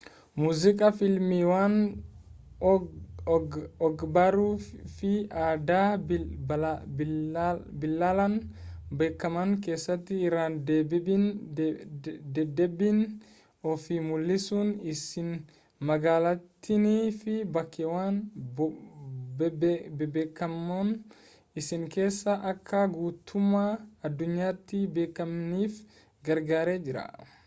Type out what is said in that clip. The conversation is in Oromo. muuziqaa fiilmiiwwan og-barruu fi aadaa bal'inaan beekaman keessatti irra-deddeebiin of mul'isuun isii magaalattiinii fi bakkeewwan bebbeekamoon isii keessaa akka guutummaa addunyaatti beekamaniif gargaaree jira